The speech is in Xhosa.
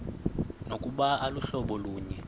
nokuba aluhlobo lunye